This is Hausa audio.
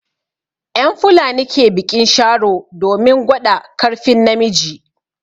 En fulani ke biƙin sharo domin gwaɗa karfin na miji.